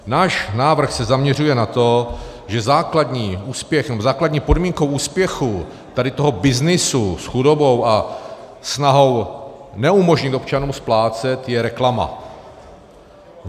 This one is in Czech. Náš návrh se zaměřuje na to, že základní podmínkou úspěchu tohoto byznysu s chudobou a snahou neumožnit občanům splácet je reklama.